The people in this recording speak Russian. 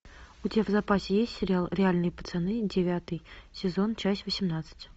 у тебя в запасе есть сериал реальные пацаны девятый сезон часть восемнадцать